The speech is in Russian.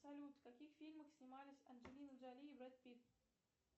салют в каких фильмах снимались анджелина джоли и брэд питт